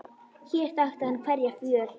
Hér þekkti hann hverja fjöl.